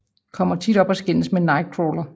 Kommer tit op og skændes med Nightcrawler